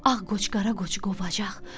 Ağ qoç qara qoçu qovacaq.